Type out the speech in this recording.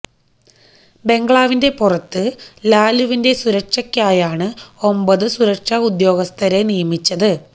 ബെംഗ്ലാവിന്റെ പുറത്ത് ലാലുവിന്റെ സുരക്ഷക്കായാണ് ഒമ്പത് സുരക്ഷാ ഉദ്യോഗസ്ഥരെ നിയമിച്ചത്